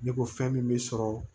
Ne ko fɛn min be sɔrɔ